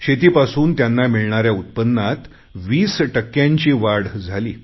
शेतीपासून त्यांना मिळणाऱ्या उत्पन्नात वीस टक्क्यांची वाढ झाली